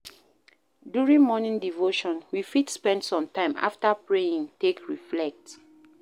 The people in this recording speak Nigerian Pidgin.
During morning devotion we fit spend some time after praying take reflect